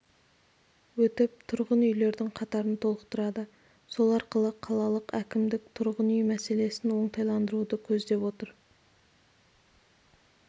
өтіп тұрғын үйлердің қатарын толықтырады сол арқылы қалалық әкімдік тұрғын үй мәселесін оңтайландыруды көздеп отыр